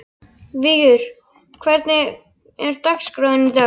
Vigur, hvernig er dagskráin í dag?